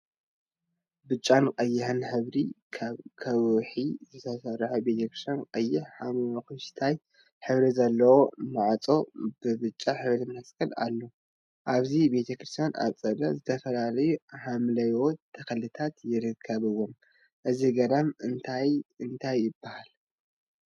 ብጫን ቀይሕን ሕብራዊ ካብ ከውሒ ዝተሰርሐ ቤተ ክርስትያን ቀይሕን ሓመኩሽታይን ሕብሪ ዘለዎ ማዕፆ ብብጫ ሕብሪ መስቀል አለዎ፡፡ አብዚ ቤተ ክርስትያን አፀደ ዝተፈላለዩ ሓምለዎት ተክሊታት ይርከቡዎም፡፡ እዚ ገዳም እንዳ እንታይ ይበሃል?